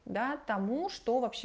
да тому что вообще